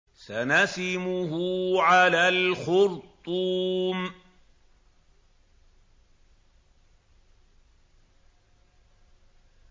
سَنَسِمُهُ عَلَى الْخُرْطُومِ